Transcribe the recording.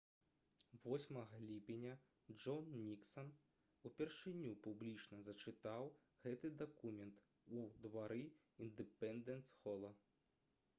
8 ліпеня джон ніксан упершыню публічна зачытаў гэты дакумент у двары індэпендэнс-хола